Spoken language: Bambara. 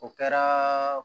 O kɛra